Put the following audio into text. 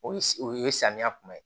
O o ye samiya kuma ye